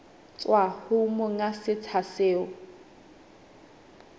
tswa ho monga setsha seo